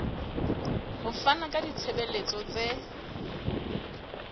ho fana ka ditshebeletso tse